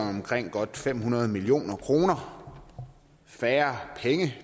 omkring godt fem hundrede million kroner færre